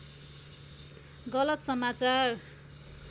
गलत समाचार